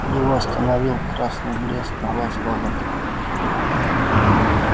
его остановил красный блеск глаз робота